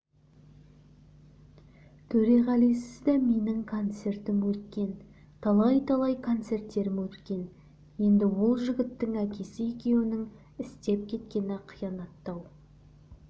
төреғалисыз да менің концертім өткен талай-талай концерттерім өткен енді ол жігіттің әкесі екеуінің істеп кеткені қиянаттау